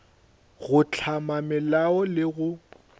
go hlama melao le go